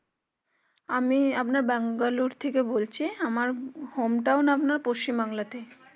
আমি আপনার বেঙ্গালোর থেকে বলছি আমার home town আপনার পশ্চিম বাংলাতে